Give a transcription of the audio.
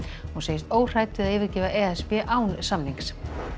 hún segist óhrædd við að yfirgefa e s b án samnings